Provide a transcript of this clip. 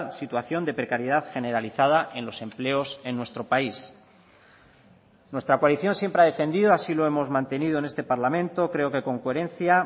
situación de precariedad generalizada en los empleos en nuestro país nuestra coalición siempre ha defendido así lo hemos mantenido en este parlamento creo que con coherencia